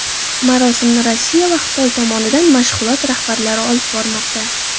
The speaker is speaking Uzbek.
Marosimni Rossiya va Xitoy tomonidan mashg‘ulot rahbarlari olib bormoqda.